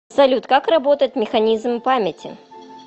салют как работает механизм памяти